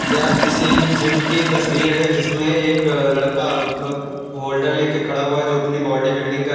यह किसी जिम की तस्वीर है जिसमें एक लड़का अ होल्डर लेके खड़ा हुआ जो अपनी बॉडी बिल्डिंग कर --